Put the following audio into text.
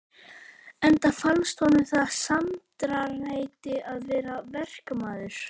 Enda fannst honum það sæmdarheiti að vera verkamaður.